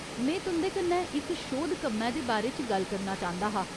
में तुं'दे कन्नै इक शोध कम्मै दे बारे च गल्ल करना चांह्दा हा।